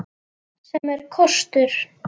Sem er kostur.